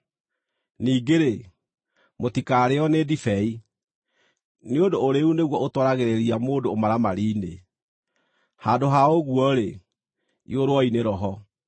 Ningĩ-rĩ, mũtikarĩĩo nĩ ndibei, nĩ ũndũ ũrĩĩu nĩguo ũtwaragĩrĩria mũndũ ũmaramari-inĩ. Handũ ha ũguo-rĩ, iyũrwoi nĩ Roho.